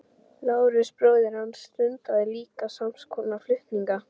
Lárus bróðir hans stundaði líka sams konar flutninga.